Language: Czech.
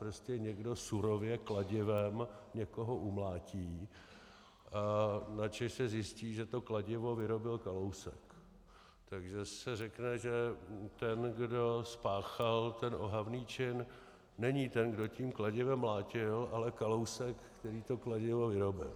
Prostě někdo surově kladivem někoho umlátí, načež se zjistí, že to kladivo vyrobil Kalousek, takže se řekne, že ten, kdo spáchal ten ohavný čin, není ten, kdo tím kladivem mlátil, ale Kalousek, který to kladivo vyrobil.